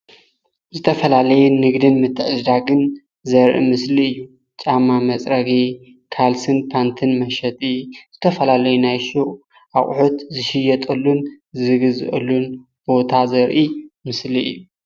ዝተፈላለዩ ንግድን ምትዕድዳግን ዘርኢ ምስሊ እዩ። ጫማ መፅረጊ ፣ፓንትን ካልስን መሸጢ ዘርኢ ምስሊ እዩ። ዝተፈላለዩ ናይ ሹቅ ኣቁሑት ዝሽየጠሉን ዝዕደገሉን ቦታ እዩ።